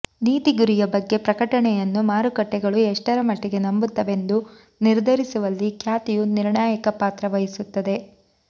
ನೀತಿ ಗುರಿಯ ಬಗ್ಗೆ ಪ್ರಕಟಣೆಯನ್ನು ಮಾರುಕಟ್ಟೆಗಳು ಎಷ್ಟರಮಟ್ಟಿಗೆ ನಂಬುತ್ತವೆಂದು ನಿರ್ಧರಿಸುವಲ್ಲಿ ಖ್ಯಾತಿಯು ನಿರ್ಣಾಯಕ ಪಾತ್ರ ವಹಿಸುತ್ತದೆ